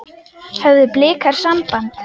Höfðu Blikar samband?